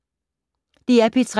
DR P3